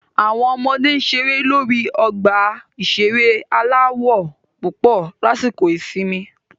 Àwọn ọmọdé ń ṣeré lórí ọgbà ìṣeré aláwọ̀ púpọ̀ lásìkò ìsinmi